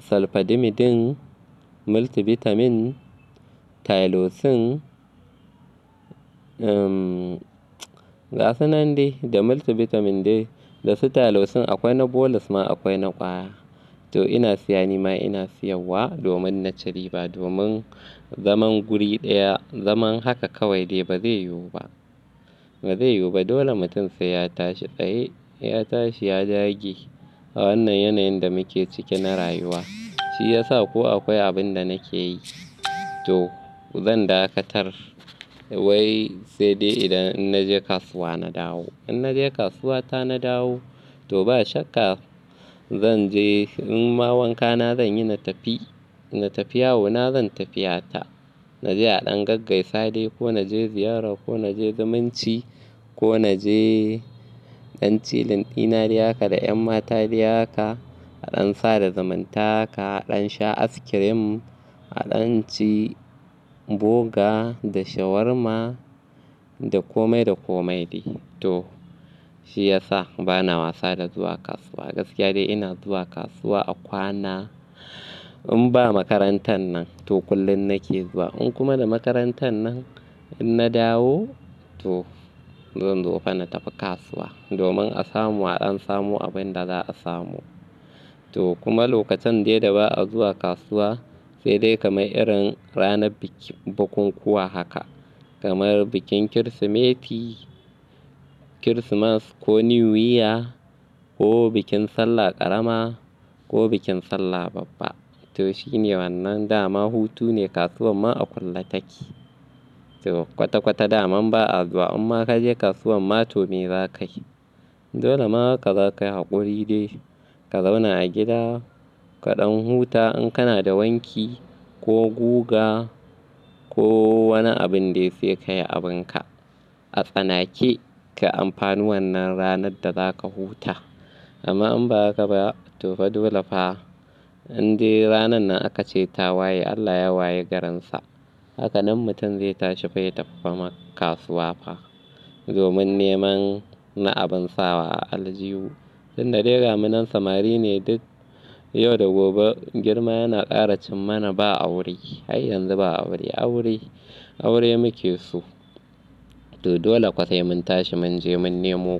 Salfadimidin, Multivitamin, Tylosin, gasu nan dai da Multivitamin dai da su Tylosin akwai na bolus ma akwai na ƙwaya. To ina siya nima ina siyar wa domin na ci riba domin zaman guri ɗaya, zaman haka kawai dai ba zai yiwu ba, ba zai yiwu ba. Dole mutum sai ya tashi tsaye, ya tashi ya dage a wannan yanayin da muke cike na rayuwa. Shi yasa ko akwai abin da nake yi to zan dakatar wai sai dai idan ina je kasuwa na dawo. In na je kasuwa ta na dawo to ba shakka zan je, in ma wanka na zan yi na tafi, na tafi yawo na zan tafiya ta. Na je a ɗan gaggaisa dai ko na je ziyara ko na je zumunci ko na je ɗan chilling dina dai haka da ƴan mata dai haka, a ɗan sada zumunta haka, a ɗan sha askirim, a ɗan ci boga da shawarma da komai da komai dai. To shi yasa bana wasa da zuwa kasuwa. Gaskiya dai ina zuwa kasuwa a kwana in ba makarantar nan to kullum nake zuwa. In kuma da makarantar nan in na dawo to zan zo fa na tafi kasuwa domin a samu a ɗan samu abin da za a samu. To kuma lokacin dai da ba a zuwa kasuwa sai dai kamar irin ranar bikin bukukuwa haka kamar bikin Kirsimeti, Kirsimas ko New Year ko bikin Sallah ƙarama ko bikin Sallah babba. To shine wannan dama hutu ne kasuwar ma a kulle take. To kwata-kwata dama ba a zuwa amma ka je kasuwar ma to me za ka yi? Dole ma haka za ka yi haƙuri dai ka zauna a gida, ka ɗan huta in kana da wanki ko guga ko wani abin dai sai ka yi abin ka. A tsanake ka amfani wannan ranar da za ka huta. Amma in ba haka ba to fa dole fa. In dai ranan nan aka ce tawaye Allah ya waye garinsa. Haka nan mutum zai tashi fa ya tafi fa ma kasuwa fa domin neman na abin sawa a aljihu. Tunda dai gamu nan samari ne duk yau da gobe girma yana ƙara cimmana ba aure. Har yanzu ba aure, aure aure muke so. To dole kwa sai mun tashi mun je mun nemo.